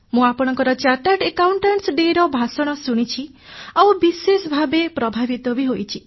ମୁଁ chartered accountants day ରେ ଆପଣଙ୍କ ଭାଷଣ ଶୁଣିଛି ଆଉ ବିଶେଷ ଭାବେ ପ୍ରଭାବିତ ହୋଇଛି